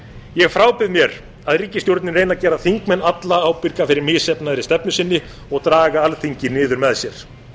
ég frábið mér að ríkisstjórnin reyni að gera þingmenn alla ábyrga fyrir misheppnaðri stefnu sinni og draga alþingi niður með sér